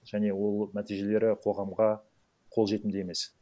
және ол нәтижелері қоғамға қолжетімді емес